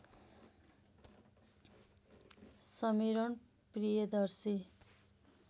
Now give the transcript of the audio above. Sameeran Priyadarshi